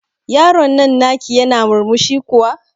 Yaron nan na ki yana murmushi kuwa?